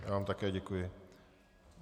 Já vám také děkuji.